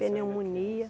Pneumonia.